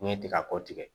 N'i ye tigako tigɛ